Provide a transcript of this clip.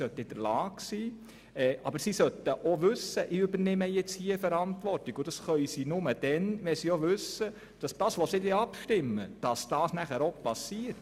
Aber sie sollten auch wissen, dass sie die Verantwortung übernehmen, und das können sie nur, wenn sie auch sicher sind, dass dann auch geschieht, was sie beschliessen.